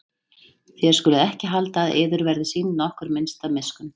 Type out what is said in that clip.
Þér skuluð ekki halda að yður verði sýnd nokkur minnsta miskunn.